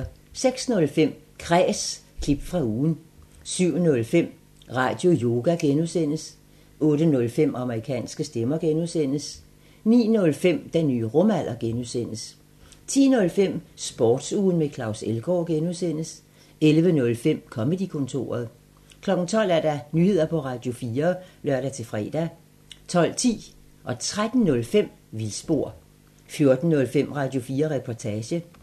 06:05: Kræs – klip fra ugen 07:05: Radioyoga (G) 08:05: Amerikanske stemmer (G) 09:05: Den nye rumalder (G) 10:05: Sportsugen med Claus Elgaard (G) 11:05: Comedy-kontoret 12:00: Nyheder på Radio4 (lør-fre) 12:10: Vildspor 13:05: Vildspor 14:05: Radio4 Reportage